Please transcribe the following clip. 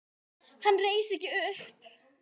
Hann reis ekki upp.